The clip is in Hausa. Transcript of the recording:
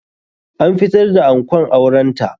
An fitar da ankon auren ta.